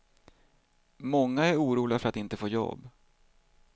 Många är oroliga för att inte få jobb.